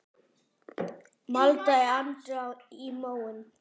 maldaði Andri í móinn.